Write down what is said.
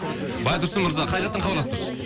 байтұрсын мырза қай жақтан хабарласып тұрсыз